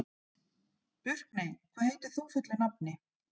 Burkney, hvað heitir þú fullu nafni?